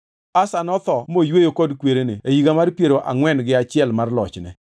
Asa notho moyweyo kod kwerene e higa mar piero angʼwen gi achiel mar lochne,